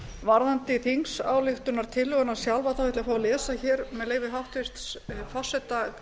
varðandi þingsályktunartillöguna sjálfa ætla ég að fá að lesa hér með leyfi háttvirtan forseta